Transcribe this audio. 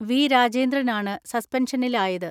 V. രാജേന്ദ്രനാണ് സസ്പെൻഷനിലായത്.